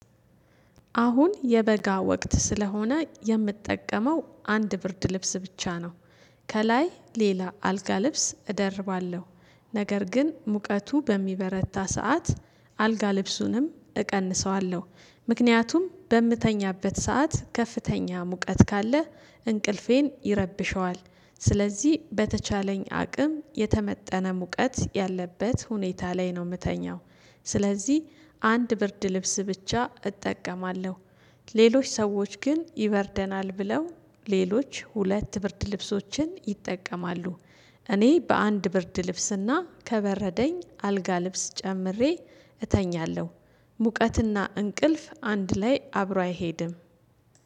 አሁን የበጋ ወቅት ስለሆነ የምጠቀመው አንድ ብርድ ልብስ ብቻ ነው። ከላይ ሌላ አልጋ ልብስ እደርባለሁ። ነገር ግን ሙቀቱ በሚበረታ ሰዓት አልጋ ልብሱንም እቀንሰዋለሁ ምክንያቱም በምተኛበት ሰዓት ከፍተኛ ሙቀት ካለ እንቅልፌን ይረብሸዋል። ስለዚህ በተቻለኝ አቅም የተመጠነ ሙቀት ያለበት ሁኔታ ላይ ነው የምተኛው። ስለዚህ አንድ ብርድ ልብስ ብቻ እጠቀማለሁ። ሌሎች ሰዎች ግን ይበርደናል ብለው ሌሎች ሁለት ብርድ ልብሶችን ይጠቀማሉ። እኔ በአንድ ብርድ ልብስና ከበረደኝ አልጋ ልብስ ጨምሬ እተኛለው። ሙቀትና እንቅልፍ አንድ ላይ አብሮ አይሄድም።